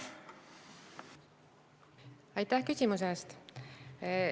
Aitäh küsimuse eest!